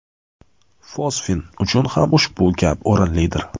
Fosfin uchun ham ushbu gap o‘rinlidir.